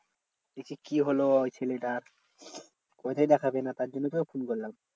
দেখি কি হলো আবার ছেলেটার তাই জন্য তোকে ফোন করলাম।